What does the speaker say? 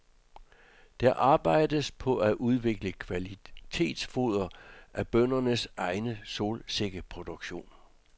Der arbejdes på at udvikle kvalitetsfoder af bøndernes egen solsikkeproduktion.